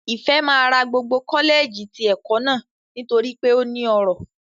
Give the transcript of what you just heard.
Ìfẹ́ máa ra gbogbo kọ́lẹ̀ẹ̀jì ti ẹ̀kọ́ náà nítorí pé ó ní ọrọ̀